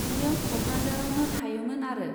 बियो क'क्राझारावनो थायोमोन आरो।